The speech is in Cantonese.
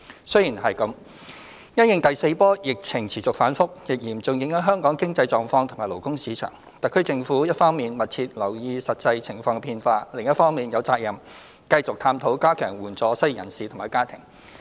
雖然如此，因應第四波疫情持續反覆，亦嚴重影響香港經濟狀況及勞工市場，特區政府一方面密切留意實際情況變化，另一方面有責任繼續探討加強援助失業人士及其家庭。